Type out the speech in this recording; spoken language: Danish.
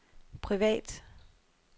privat